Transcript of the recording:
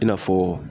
I n'a fɔ